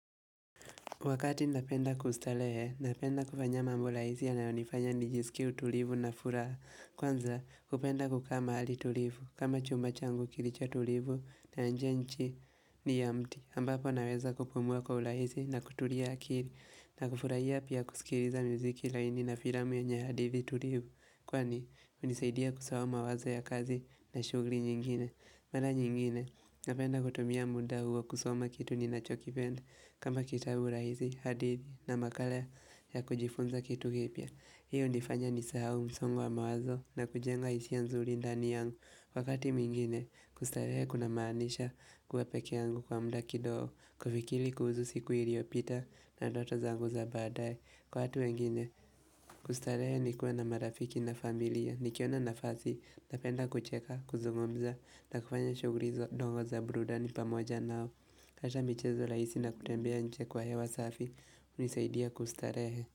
Wakati napenda kustarehe, napenda kufanya mambo rahisi yanayonifanya nijisikie utulivu na furaha. Kwanza, kupenda kukaa mahali tulivu, kama chumba changu kilicho tulivu na nje ni ya chini ya mti. Ambapo naweza kupumua kwa urahisii na kutulia akili na kufurahia pia kusikiliza muziki laini na filamu yenye hadidhi tulivu. Kwani, hunisaidia kusahau mawazo ya kazi na shughuli nyingine. Mara nyingine, napenda kutumia muda huo kusoma kitu ninachokipenda kama kitabu rahisi, hadithi na makala ya kujifunza kitu kipya. Hii hunifanya nisahau msongo wa mawazo na kujenga hisia nzuri ndani yangu. Wakati mingine, kustarehe kunamanisha kuwa pekee yangu kwa mda kidogo, kufikiri kuhusu siku iliyopita na ndoto zangu za badaye. Kwa watu wengine, kustarehe ni kuwa na marafiki na familia. Nikiona nafasi, napenda kucheka, kuzungomza na kufanya shughuli hizo ndogo za burudani pamoja nao. Kisha michezo rahisi na kutembea nje kwa hewa safi hunisaidia kustarehe.